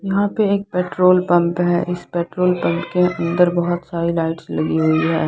यहाँ पे एक पेट्रोल पंप है इस पेट्रोल पंप के अंदर बहुत सारी लाइट्स लगी हुई है।